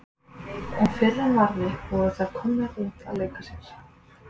Og fyrr en varði voru þær komnar út að leika sér.